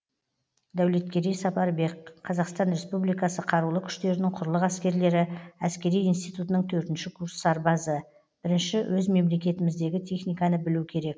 дәулеткерей сапарбек қазақстан республикасы қарылы күштерінің құрылық әскерлері әскери институтының төртінші курс сарбазы бірінші өз мемлекетіміздегі техниканы білу керек